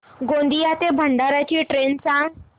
गोंदिया ते भंडारा ची ट्रेन सांग